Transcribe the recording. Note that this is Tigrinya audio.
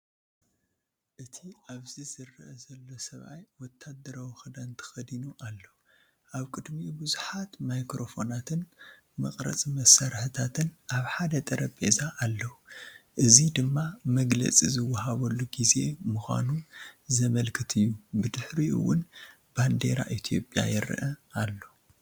እቲ ኣብዚ ዝረአ ዘሎ ሰብኣይ ወተሃደራዊ ክዳን ተኸዲኑ ኣሎ። ኣብ ቅድሚኡ ቡዝሓት ማይክሮፎናትን መቕረጺ መሳርሒታትን ኣብ ሓደ ጠረጴዛ ኣለዉ። እዚ ድማ መግለጺ ዝወሃበሉ ግዜ ምዃኑ ዘመልክት እዩ ብድሕሪኡ እውን ባንዴራ ኢትዮጵያ ይረአ ኣሎ።